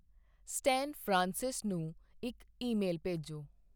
Stan Francis ਨੂੰ ਇੱਕ email ਭੇਜੋ।